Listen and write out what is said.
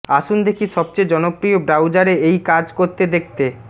আসুন দেখি সবচেয়ে জনপ্রিয় ব্রাউজারে এই কাজ করতে দেখতে